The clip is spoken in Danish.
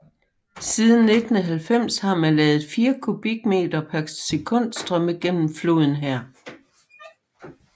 Siden 1990 har man ladet 4 kubikmeter per sekund strømme gennem floden her